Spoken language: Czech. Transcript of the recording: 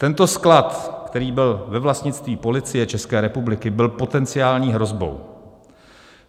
Tento sklad, který byl ve vlastnictví Policie České republiky, byl potenciální hrozbou.